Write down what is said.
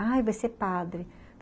Ai, vai ser padre.